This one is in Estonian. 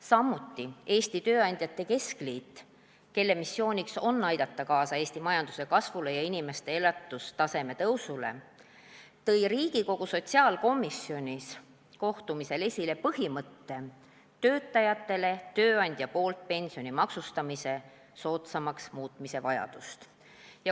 Samuti tõi Eesti Tööandjate Keskliit, kelle missioon on aidata kaasa Eesti majanduse kasvule ja inimeste elatustaseme tõusule, kohtumisel Riigikogu sotsiaalkomisjonis esile põhimõtte, et töötajatele tööandja poolt pensioni kogumise maksustamine oleks vaja muuta soodsamaks.